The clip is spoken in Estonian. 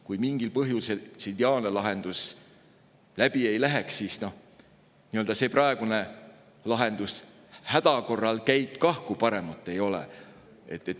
Kui mingil põhjusel see ideaalne lahendus läbi ei läheks, siis praegune lahendus häda korral käib kah, kui paremat ei ole.